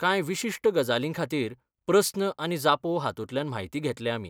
कांय विशिश्ट गजालींखातीर प्रस्न आनी जापो हातूंतल्यान म्हायती घेतले आमी.